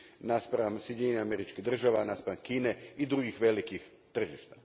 naspram Sjedinjenih Američkih Država, naspram Kine i drugih velikih tržišta.